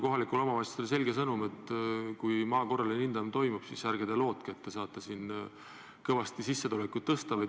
Kohalikele omavalitsustele saadeti selge sõnum, et kui maa korraline hindamine toimub, siis ärge te lootke, et saate sellega kõvasti sissetulekut tõsta.